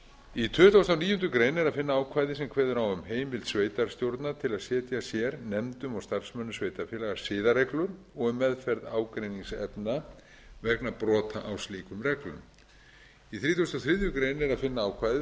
í tuttugasta og níundu grein er að finna ákvæði þar sem kveðið er á um heimild sveitarstjórna til að setja sér nefndum og starfsmönnum sveitarfélaga siðareglur og um meðferð ágreiningsefna vegna brota á slíkum reglum í þrítugasta og þriðju grein er að finna ákvæði